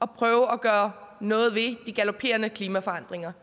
prøve at gøre noget ved de galoperende klimaforandringer